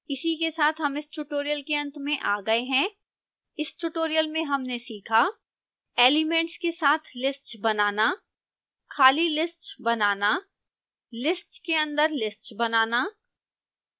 इसी के साथ हम इस tutorial के अंत में आ गए हैं